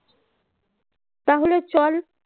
তাহলে চল